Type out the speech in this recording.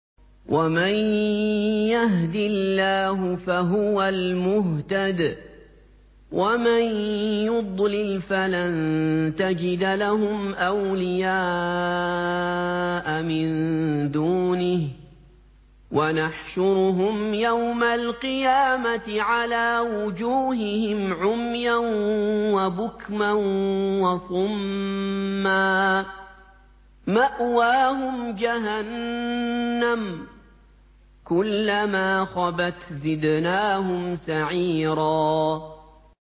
وَمَن يَهْدِ اللَّهُ فَهُوَ الْمُهْتَدِ ۖ وَمَن يُضْلِلْ فَلَن تَجِدَ لَهُمْ أَوْلِيَاءَ مِن دُونِهِ ۖ وَنَحْشُرُهُمْ يَوْمَ الْقِيَامَةِ عَلَىٰ وُجُوهِهِمْ عُمْيًا وَبُكْمًا وَصُمًّا ۖ مَّأْوَاهُمْ جَهَنَّمُ ۖ كُلَّمَا خَبَتْ زِدْنَاهُمْ سَعِيرًا